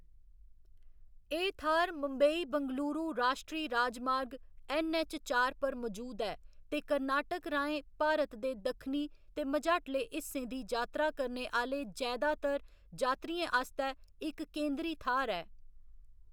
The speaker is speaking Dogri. एह्‌‌ थाह्‌‌‌र मुंबई बेंगलुरु राश्ट्री राजमार्ग, ऐन्नऐच्च चार पर मजूद ऐ, ते कर्नाटक राहें भारत दे दक्खनी ते मझाटले हिस्सें दी यात्रा करने आह्‌‌‌ले जैदातर जात्तरियें आस्तै इक केंदरी थाह्‌‌‌र ऐ।